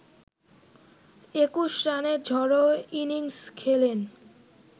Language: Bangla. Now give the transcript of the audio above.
২১ রানের ঝড়ো ইনিংস খেলেন